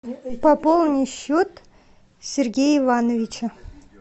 пополни счет сергея ивановича